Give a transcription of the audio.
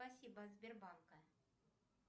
спасибо от сбербанка